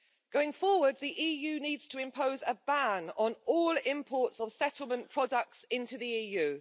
Going forward, the EU needs to impose a ban on all imports of settlement products into the EU.